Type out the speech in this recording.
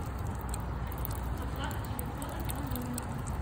оплата телефона по номеру